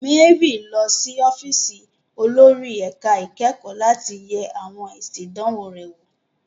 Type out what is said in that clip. Mary ń lọ sí ọ́fíìsì olórí ẹ̀ka ìkẹ́kọ̀ọ́ láti yẹ àwọn èsì ìdánwò rẹ̀ wò.